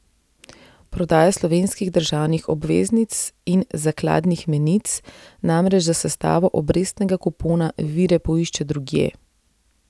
Prodaja slovenskih državnih obveznic in zakladnih menic namreč za sestavo obrestnega kupona vire poišče drugje.